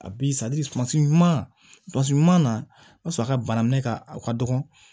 A bi sumansi ɲuman na o y'a sɔrɔ a ka bana minɛ ka dɔgɔ